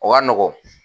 O ka nɔgɔn